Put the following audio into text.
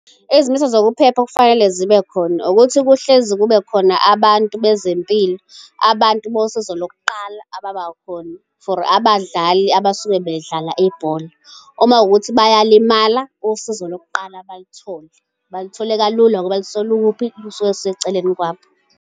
Izimiso zokuphepha okufanele zibe khona ukuthi kuhlezi kube khona abantu bezempilo, abantu bosizo lokuqala ababakhona for abadlali abasuke bedlala ibhola. Uma kuwukuthi bayalimala usizo lokuqala balithole, balithole kalula ngoba lisuke likuphi, lisuke liseceleni kwabo.